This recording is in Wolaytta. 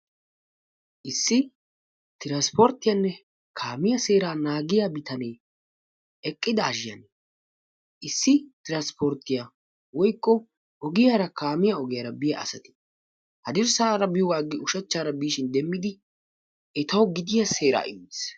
Issi tiranssporttiyane kaamiya seeraa naagiyaa biitane eqqidashin issi tiranssportiyaa woykko ogiyara kaamiyaa ogiyara biya asati haddirssara biyoga aggidi ushshachchara biishin demmidi etawu gidiya seeraa immis.